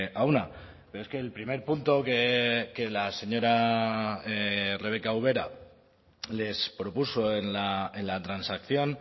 a una pero es que el primer punto que la señora rebeka ubera les propuso en la transacción